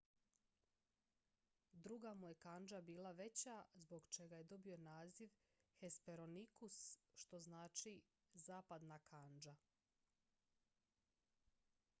"druga mu je kandža bila veća zbog čega je dobio naziv hesperonychus što znači "zapadna kandža"".